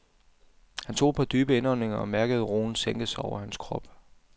Han tog et par dybe indåndinger og mærkede roen sænke sig over hans krop.